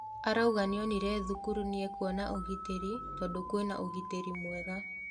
Arauga nĩonire thukuru nĩ ekũona ũgitĩri tondũ kwĩna ugĩtĩri mwega.